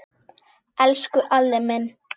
Elsku Alli minn.